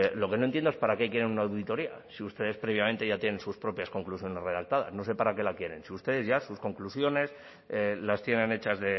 lo que no entiendo es para qué quieren una auditoría si ustedes previamente ya tienen sus propias conclusiones redactadas no sé para qué la quieren si ustedes ya sus conclusiones las tienen hechas